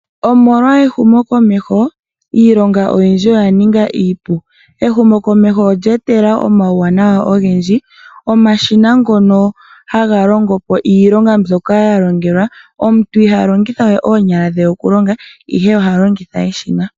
Omolwa ehumokomeho, iilonga oyindji oya ninga iipu. Ehumokomeho olya etelela omauwanawa ogendji, mwa kwatelwa omashina. Omuntu iha longitha we oonyala dhe okulonga, ihe oha longitha eshina.